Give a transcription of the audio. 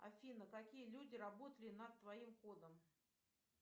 афина какие люди работали над твоим кодом